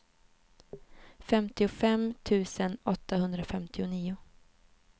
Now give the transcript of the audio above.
femtiofem tusen åttahundrafemtionio